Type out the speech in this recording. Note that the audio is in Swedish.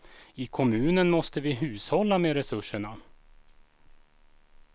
I kommunen måste vi hushålla med resurserna.